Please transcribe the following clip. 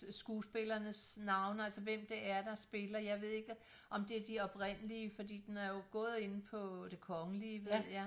Skuespillernes navne altså hvem det er der spiller jeg ved ikke om det er de oprindelige fordi den har jo gået inde på Det Kongelige ved jeg